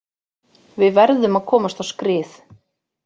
Við verðum að komast á skrið.